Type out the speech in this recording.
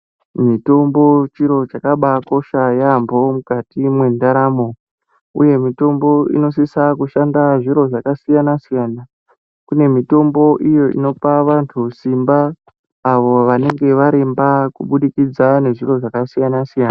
Mitombo chiro chakabakosha yambo mukati mwendaramo uye mutombo unosisa kushanda zviro zvakasiyana siyana kune mitombo iyo inopa vantu simba avo vanenge varemba kubudikidza ngezviro zvakasiyana siyana.